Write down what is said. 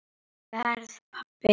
Verð pabbi.